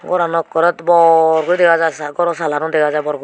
boranow ekkorey bor guri dega jaai saa gorow salaano dega jaai bor guri.